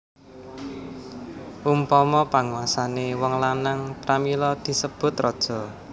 Umpama panguasané wong lanang pramila disebut raja